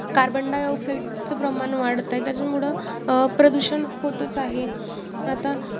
carbon di oxide चं प्रमाण वाढत आहे. त्याच्यामुळं अं प्रदूषण होतच आहे, आता